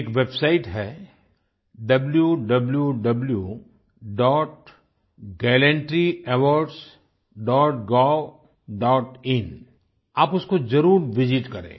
एक वेबसाइट है wwwgallantryawardsgovइन आप उसको ज़रूर विसित करें